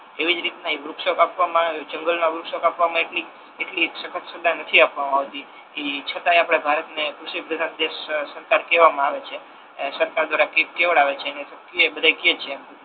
એવી જ રીતના ઈ વૃક્ષો કાપવામા આવે જંગલ મા વૃક્ષો કાપવામા એટલી એટલી નથી આપવામા આવતી એ છતાય આપણે ભારત ને કૃષિપ્રધાન દેશ કહવામા આવે છે સરકાર દ્વાર કેવડાવે છે ને બધા કે છે હવે ટૂંક મા